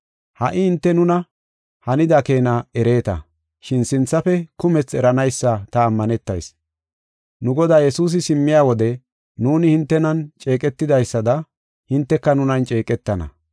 Ha77i hinte nuna hanida keena ereeta, shin sinthafe kumethi eranaysa ta ammanetayis. Nu Godaa Yesuusi simmiya wode nuuni hintenan ceeqetidaysada hinteka nunan ceeqetana.